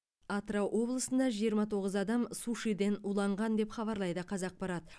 атырау облысында жиырма тоғыз адам сушиден уланған деп хабарлайды қазақпарат